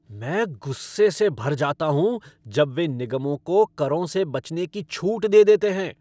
मैं गुस्से से भर जाता हूँ जब वे निगमों को करों से बचने की छूट दे देते हैं।